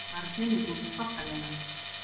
Barninu gengur þokkalega